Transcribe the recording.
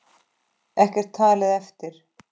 Ekkert talið eftir.